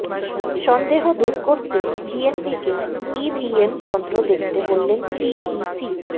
সন্দেহ দূর করতে বিএনপিকে ইভিএম যন্ত্র দেখতে বললেন সিইসি